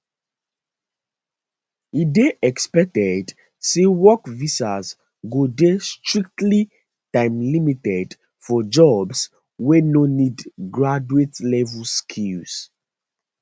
e dey expected say work visas go dey strictly timelimited for jobs wey no need graduatelevel skills